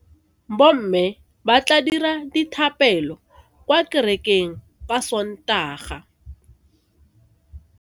Bomme ba tla dira dithapelo kwa kerekeng ka Sontaga.